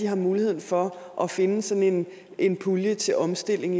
har mulighed for at finde sådan en pulje til omstilling